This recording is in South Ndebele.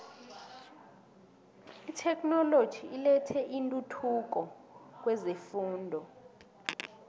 itheknoloji ilethe intuthuko kwezefundo